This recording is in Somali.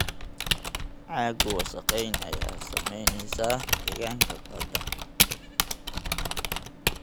Caaggu wasakheyn ayaa saameynaysa deegaanka badda.